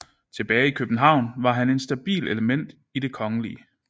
Tilbage i København var han et stabilt element i Den Kgl